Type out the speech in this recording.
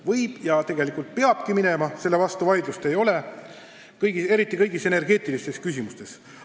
Võib minna ja tegelikult peabki minema, selle üle vaidlust ei ole, eriti kui tegu on kõigi energeetiliste küsimustega.